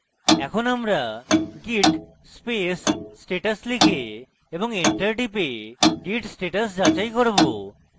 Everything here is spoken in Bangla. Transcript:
এখন আমরা git space status লিখে এবং enter টিপে git status যাচাই করব